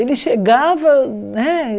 Ele chegava, né?